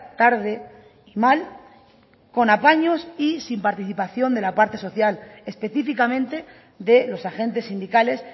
tarde y mal con apaños y sin participación de la parte social específicamente de los agentes sindicales